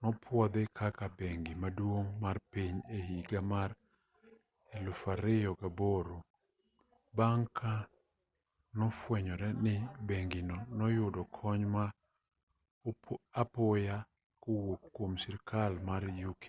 nopwodhi kaka bengi maduong' mar piny e higa mar 2008 bang' ka nosefwenyore ni bengino noyudo kony ma apoya kowuok kwom sirkal mar uk